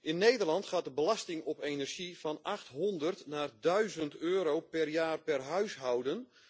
In Nederland gaat de belasting op energie van 800 naar 1000 EUR per jaar per huishouden.